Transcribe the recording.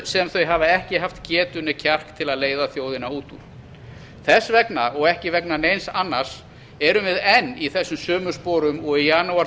sem þau hafa ekki haft getu né kjark til að leiða þjóðina út úr þess vegna og ekki vegna neins annars erum við enn í þessum sömu sporum og í janúar